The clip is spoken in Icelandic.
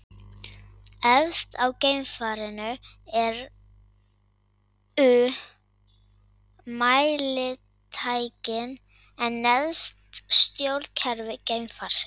Efst á geimfarinu eru mælitækin, en neðst stjórnkerfi geimfarsins.